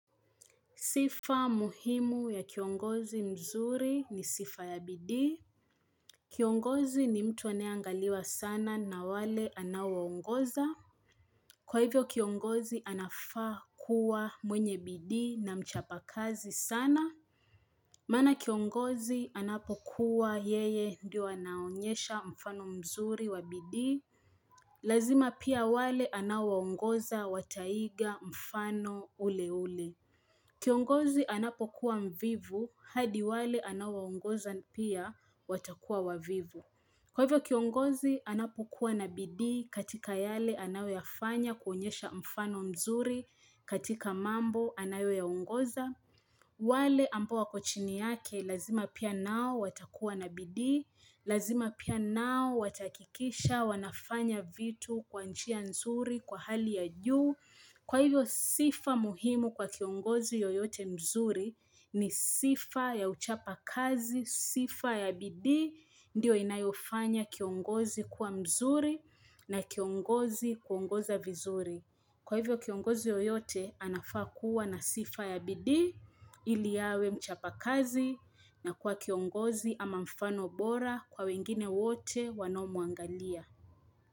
Sifa muhimu ya kiongozi mzuri ni sifa ya bidii. Kiongozi ni mtu anayeangaliwa sana na wale anawaongoza. Kwa hivyo kiongozi anafaa kuwa mwenye bidii na mchapa kazi sana. Mana kiongozi anapokuwa yeye ndio anaonyesha mfano mzuri wa bidii. Lazima pia wale anawaongoza wataiga mfano ule ule. Kiongozi anapokuwa mvivu, hadi wale anaowaongoza pia watakuwa wavivu. Kwa hivyo kiongozi anapokuwa na bidii katika yale anayoyafanya kuonyesha mfano mzuri katika mambo anayoyaongoza. Wale ambao wako chini yake lazima pia nao watakuwa na bidii, lazima pia nao watahakikisha wanafanya vitu kwa njia nzuri kwa hali ya juu. Kwa hivyo sifa muhimu kwa kiongozi yoyote mzuri ni sifa ya uchapa kazi, sifa ya bidii, ndiyo inayofanya kiongozi kuwa mzuri na kiongozi kuongoza vizuri. Kwa hivyo kiongozi yoyote anafaa kuwa na sifa ya bidii ili awe mchapa kazi na kuwa kiongozi ama mfano bora kwa wengine wote wanaomwangalia.